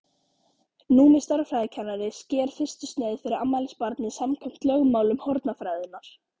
Númi stærðfræðikennari sker fyrstu sneið fyrir afmælisbarnið samkvæmt lögmálum hornafræðinnar.